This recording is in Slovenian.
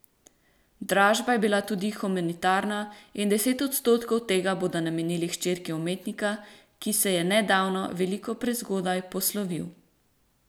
Dražba je bila tudi humanitarna in deset odstotkov tega bodo namenili hčerki umetnika, ki se je nedavno, veliko prezgodaj, poslovil.